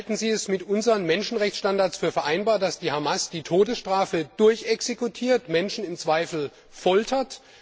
Halten Sie es für mit unseren Menschenrechtsstandards vereinbar, dass die Hamas die Todesstrafe exekutiert, Menschen im Zweifel foltert?